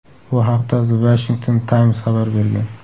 Bu haqda The Washington Times xabar bergan .